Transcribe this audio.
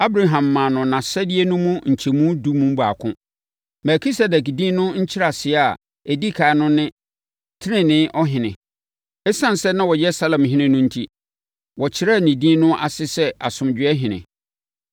Abraham maa no nʼasadeɛ no mu nkyɛmu edu mu baako. Melkisedek din no nkyerɛaseɛ a ɛdi ɛkan no ne Tenenee Ɔhene. Esiane sɛ na ɔyɛ Salemhene no enti, wɔkyerɛɛ ne din no ase sɛ Asomdwoeɛhene.